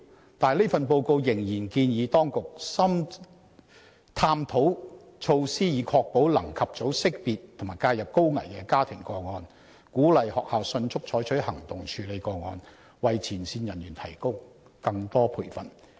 可是，這份報告仍然建議當局"探討措施以確保能及早識別和介入高危家庭個案"、"鼓勵學校""迅速採取行動處理和跟進該等個案"及"為前線人員提供更多培訓"。